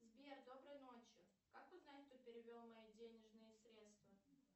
сбер доброй ночи как узнать кто перевел мои денежные средства